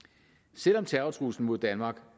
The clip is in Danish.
selv om terrortruslen mod danmark